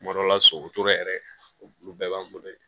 Tuma dɔ la so yɛrɛ olu bɛɛ b'an bolo yen